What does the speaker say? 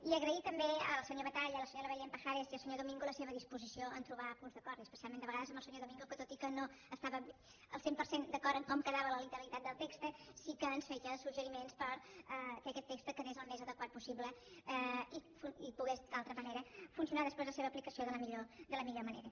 i agrair també al senyor batalla la senyora belén pajares i al senyor domigo la seva disposició a trobar punts d’acord i especialment de vegades amb el senyor domingo que tot i que no estàvem al cent per cent d’acord en com quedava la literalitat del text sí que ens feia suggeriments perquè aquest text quedés el més adequat possible i pogués d’altra manera funcionar després la seva aplicació de la millor manera